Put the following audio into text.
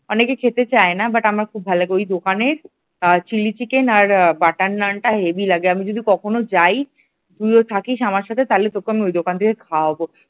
অনেকে খেতে চায় না but আমার খুব ভালো লাগে ওই দোকানের চিলি চিকেন আর বাটার নান টা heavy লাগে আমি যদি কখনো যাই তুইও থাকিস আমার সাথে তাহলে আমি তোকে ওই দোকান থেকে খাওয়াবো।